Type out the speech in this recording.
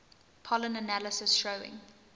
pollen analysis showing